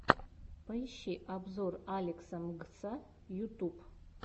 поищи обзор алекса мгса ютуб